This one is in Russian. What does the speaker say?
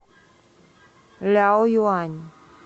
ляоюань